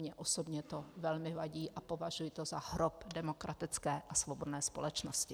Mně osobně to velmi vadí a považuji to za hrob demokratické a svobodné společnosti.